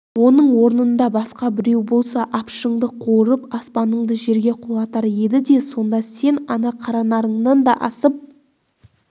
оның орнында басқа біреу болса апшыңды қуырып аспаныңды жерге құлатар еді де сонда сен ана қаранарыңнан да асып